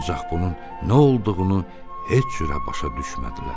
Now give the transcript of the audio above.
Ancaq bunun nə olduğunu heç cürə başa düşmədilər.